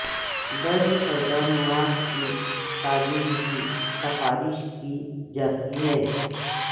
درج کردہ مواد کی تعبیر بھی سفارش کی جاتی ہیں